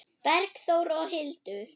Bergþór og Hildur.